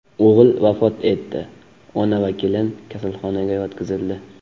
O‘g‘il vafot etdi, ona va kelin kasalxonaga yotqizildi.